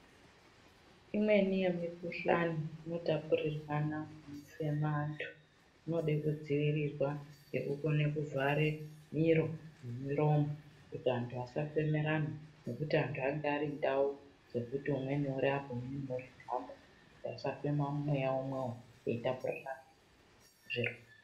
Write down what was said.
Imweni yemikuhlani inotapurirwana ngekufema antu inode kudzivirirwa ngekukone kuvhare miro nemiromo kuti antu asafemerana ngekuti antu anenge ari mundau dzekuti umweni uri apa umweni uri apa veihamba kuti vasafema mweya umwewo veitapurirana zvirwere.